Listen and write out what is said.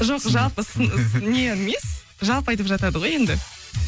жоқ жалпы не емес жалпы айтып жатады ғой енді